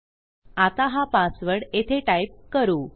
आता हा पासवर्ड येथे टाईप करू